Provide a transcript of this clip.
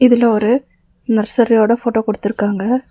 இதுல ஒரு நர்சரியோட ஃபோட்டோ குடுத்துருக்காங்க.